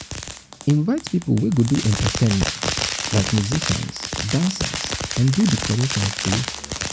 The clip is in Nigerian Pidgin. invite pipo wey go do entertainment like musicians dancers and do decorations too